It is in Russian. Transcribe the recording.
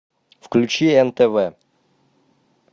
включи нтв